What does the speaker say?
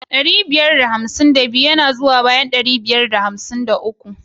Ɗari ɓiyar da hamsin da biyu yana zuwa bayan ɗari biyar da hamsin ɗaya.